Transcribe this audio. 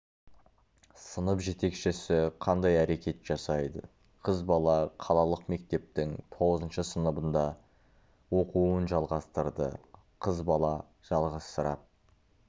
сынып жетекшісі қандай әрекет жасайды қыз бала қалалық мектептің тоғызыншы сыныбында оқуын жалғастырды қыз бала жалғызсырап